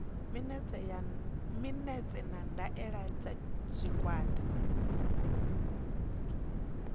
minetse na ndaela dza tshigwada